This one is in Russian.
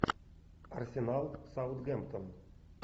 арсенал саутгемптон